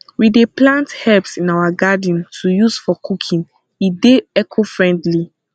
we dey plant herbs in our garden to use for cooking e dey ecofriendly